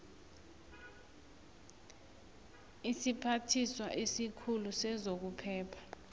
isiphathiswa esikhulu sezokuphepha